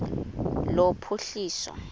lophuhliso